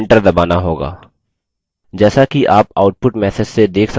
जैसा कि आप output message से देख सकते हैं